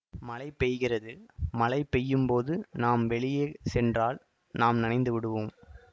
மழை பெய்கிறது மழை பெய்யும்போது நாம் வெளியே சென்றால் நாம் நனைந்து விடுவோம்